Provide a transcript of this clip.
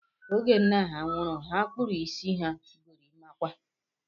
Oge nna ha nwụrụ, ha kpụrụ isi ha gorimakwa